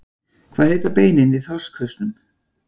Hvað heita beinin í þorskhausnum?